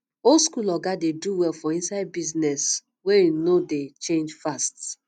old school oga dey do well for inside business wey um no um dey change fast